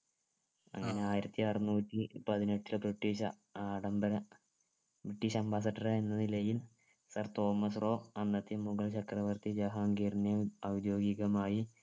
അങ്ങനെ ആയിരത്തി അറന്നൂറ്റിപതിനെട്ടിൽ british ആഡംബര british ambassador എന്ന നിലയിൽ sir തോമസ് റോ അന്നത്തെ മുഗൾ ചക്രവർത്തി ജഹാംഗീർനെ ഔദ്യോഗികമായി